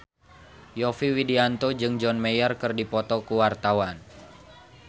Yovie Widianto jeung John Mayer keur dipoto ku wartawan